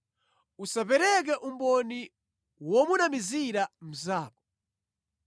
“Usapereke umboni womunamizira mnzako.